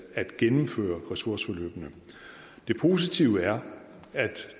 at gennemføre ressourceforløbene det positive er at